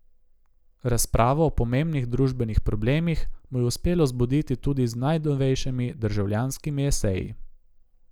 Razpravo o pomembnih družbenih problemih mu je uspelo zbuditi tudi z najnovejšimi Državljanskimi eseji.